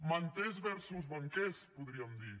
manters versus banquers podríem dir